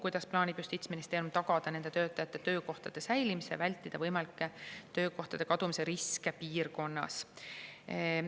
Kuidas plaanib Justiitsministeerium tagada nende töötajate töökohtade säilimise ja vältida võimalikke töökohtade kadumise riske piirkonnas?